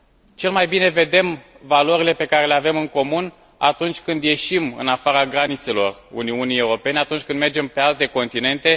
Cel mai bine vedem valorile pe care le avem în comun atunci când ieșim în afara granițelor Uniunii Europene, atunci când mergem pe alte continente.